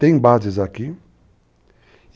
Tem bases aqui.